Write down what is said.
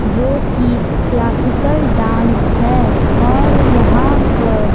जो कि classical dance हैं और यहां पर--